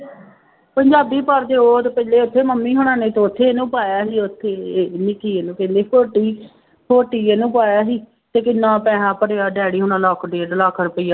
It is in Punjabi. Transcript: ਪੰਜਾਬੀ ਪੜ੍ਹਦੇੇ ਉਹ ਤੇ ਪਹਿਲੇ ਉੱਥੇ ਮੰਮੀ ਹੋਣਾਂ ਨੇ ਤੇ ਉੱਥੇ ਹੀ ਇਹਨੂੰ ਪਾਇਆ ਸੀ ਉੱਥੇ ਹੀ ਇਹ ਨੀ ਕੀ ਇਹਨੂੰ ਕਹਿੰਦੇ ਹੋਟੀ ਹੋਟੀ ਇਹਨੂੰ ਪਾਇਆ ਸੀ ਤੇ ਕਿੰਨਾ ਪੈਸਾ ਭਰਿਆ daddy ਹੋਣਾਂ ਲੱਖ ਡੇਢ ਲੱਖ ਰੁਪਇਆ।